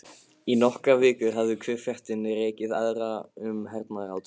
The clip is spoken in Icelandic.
Í nokkrar vikur hafði hver fréttin rekið aðra um hernaðarátök